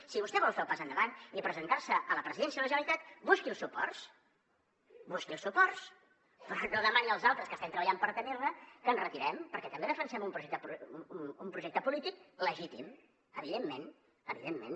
si vostè vol fer el pas endavant i presentar se a la presidència de la generalitat busqui els suports busqui els suports però no demani als altres que estem treballant per tenir ne que ens retirem perquè també defensem un projecte polític legítim evidentment evidentment